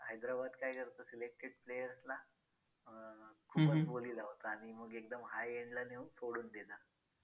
करून लाखला तेव्हा सर्व बाबी आपल्याला सहजपणे समजू लागतील.